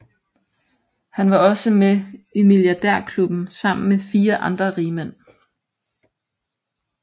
Han var også med i milliardærklubben sammen med fire andre rigmænd